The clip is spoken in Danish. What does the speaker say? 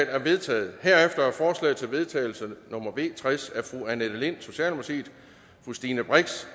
er vedtaget herefter er forslag til vedtagelse nummer v tres af annette lind stine brix